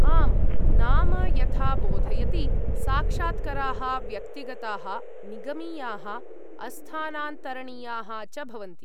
आम्, नाम यथा बोधयति, साक्षात्कराः व्यक्तिगताः, निगमीयाः, अस्थानान्तरणीयाः च भवन्ति।